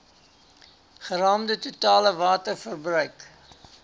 geraamde totale waterverbruik